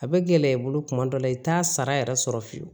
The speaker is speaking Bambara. A bɛ gɛlɛya i bolo tuma dɔw la i t'a sara yɛrɛ sɔrɔ fiyewu